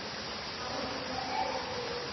þá hófst nokkur fjölgun